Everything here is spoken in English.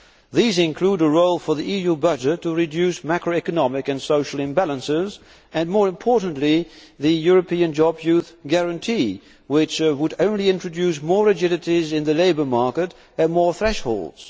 These include a role for the EU budget to reduce macroeconomic and social imbalances and, more importantly, the European youth guarantee, which would only introduce more rigidities in the labour market and more thresholds.